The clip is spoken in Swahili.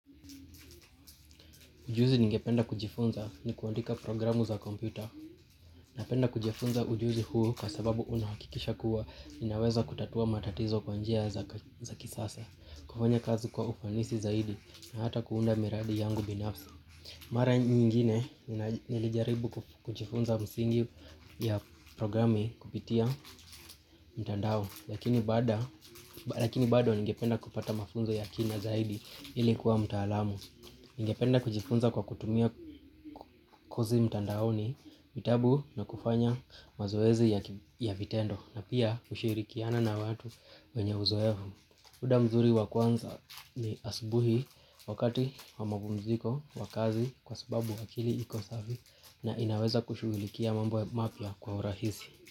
Ujuzi ningependa kujifunza ni kuandika programu za kompyuta. Napenda kujifunza ujuzi huo kwa sabahu unahakikisha kuwa ninaweza kutatua matatizo kwa njia za kisasa kufanya kazi kwa ufanisi zaidi na hata kuunda miradi yangu binafsi mara nyingine nilijaribu kujifunza misingi ya programming kupitia mtandao lakini baada lakini bado ningependa kupata ya kina zaidi ili kuwa mtaalamu. Ningependa kujifunza kwa kutumia kozi mtandaoni, vitabu na kufanya mazoezi ya vitendo na pia, kushirikiana na watu wenye uzoevu. Muda mzuri wa kwanza ni asubuhi wakati wa mapumziko wa kazi kwa sababu akili iko safi na inaweza kushugulikia mambo mapya kwa urahisi.